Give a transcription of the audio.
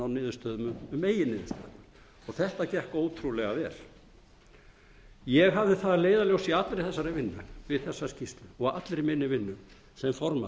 niðurstöðum um meginniðurstöðuna og þetta gekk ótrúlega vel ég hafði það að leiðarljósi í allri þessari vinnu við þessa skýrslu og allri minni vinnu sem formaður